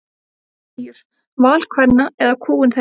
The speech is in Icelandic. Blæjur: Val kvenna eða kúgun þeirra?